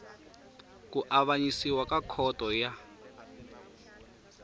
ku avanyisa ka khoto ya